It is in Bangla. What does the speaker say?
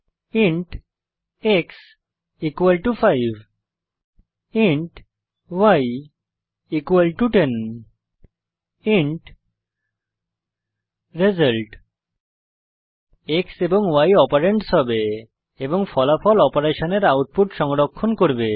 int x 5 int y 10 int result x এবং y অপারেন্ডস হবে এবং ফলাফল অপারেশসের আউটপুট সংরক্ষণ করবে